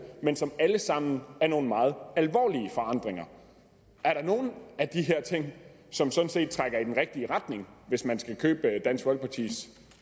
men som alle sammen er nogle meget alvorlige forandringer er der nogen af de her ting som sådan set trækker i den rigtige retning hvis man skal købe dansk folkepartis